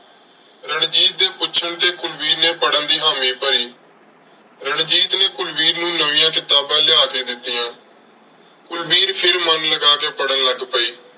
ਰਣਜੀਤ ਦੇ ਪੁੱਛਣ ਤੇ ਕੁਲਵੀਰ ਨੇ ਪੜ੍ਹਨ ਦੀ ਹਾਮੀ ਭਰੀ। ਰਣਜੀਤ ਨੇ ਕੁਲਵੀਰ ਨੂੰ ਨਵੀਆਂ ਕਿਤਾਬਾਂ ਲਿਆ ਕੇ ਦਿੱਤੀਆਂ। ਕੁਲਵੀਰ ਫਿਰ ਮਨ ਲਗਾ ਕੇ ਪੜ੍ਹਨ ਲੱਗ ਪਈ।